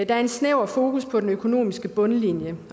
der er en snæver fokus på den økonomiske bundlinje